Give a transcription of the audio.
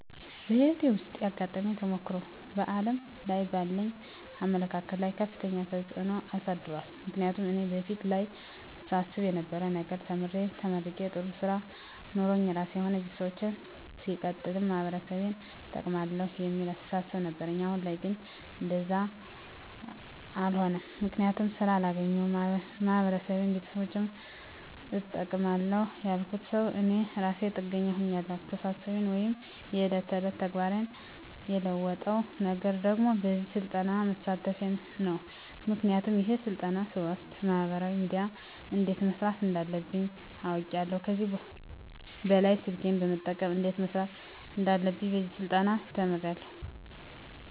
በህይወቴ ዉስጥ ያጋጠመኝ ተሞክሮ በዓለም ላይ ባለኝ አመለካከት ላይ ከፍተኛ ተጽዕኖ አሳድሯል ምክንያቱም እኔ በፊት ላይ ሳስብ የነበረዉ ነገር ተምሬ ተመርቄ ጥሩ ስራ ኖሮኝ ራሴንም ሆነ ቤተሰቦቸን ሲቀጥልም ማህበረሰቤን እጠቅማለዉ የሚል አስተሳሰብ ነበረኝ አሁን ላይ ግን እንደዛ አሎነም ምክንያቱም ስራ አላገኘዉም ማህበረሰቤንም ቤተሰቦቸንም እጠቅማለዉ ያልኩት ሰዉ እኔ እራሴ ጥገኛ ሁኛለዉ አስተሳሰቤን ወይም የዕለት ተዕለት ተግባሬን የለወጠዉ ነገር ደግሞ በዚህ ስልጠና መሳተፌ ነዉ ምክንያቱም ይሄን ስልጠና ስወስድ በማህበራዊ ሚድያ እንዴት መስራት እንዳለብኝ አዉቄያለዉ ከዚህ በኅላ ስልኬን በመጠቀም እንዴት መስራት እንዳለብኝ በዚህ ስልጠና ተምሬያለዉ